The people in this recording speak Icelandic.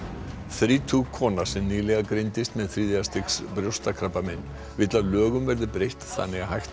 þrítug kona sem nýlega greindist með þriðja stigs brjóstakrabbamein vill að lögum verði breytt þannig að hægt